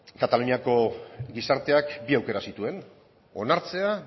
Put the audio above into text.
kataluniako gizarteak bi aukera zituen onartzea